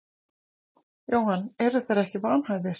Jóhann: En eru þeir ekki vanhæfir?